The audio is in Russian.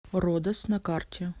родос на карте